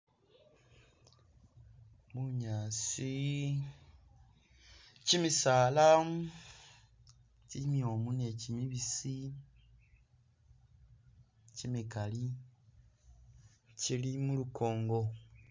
Bunyaasi, kyimisaala, kyimyomu ni kyimibisi kyimikali kyili mulukongo